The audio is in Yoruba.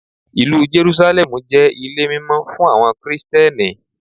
Ìlú Jerúsálẹ́mù jẹ́ ilé mímọ́ fún àwọn Kristẹni.